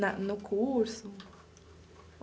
Na no curso?